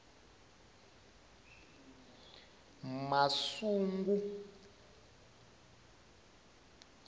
masungu